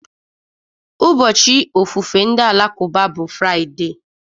Ụbọchị ofufe ndị Alakụba bụ Fraịde